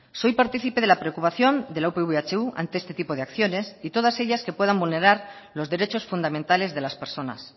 soy participe de la preocupación de la upv ehu ante este tipo de acciones y todas ellas que puedan vulnerar los derechos fundamentales de las personas